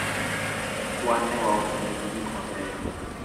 wan ne wauso negi gik mabeyo